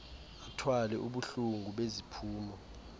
athwale ubuhlungu beziphumo